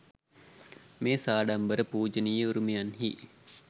මේ සාඩම්බර පූජනීය උරුමයන්හි